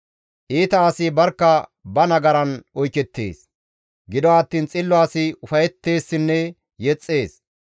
Iita asi barkka ba nagaran oykettees; gido attiin xillo asi ufayetteessinne yexxees.